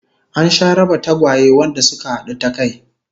An sha raba tagwaye wanda suka hadu ta kai